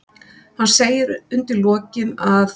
Hann segir undir lokin að